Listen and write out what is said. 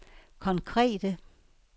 konkrete